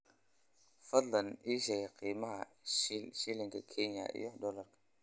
fadlan ii sheeg qiimaha shilinka kenya iyo doolarka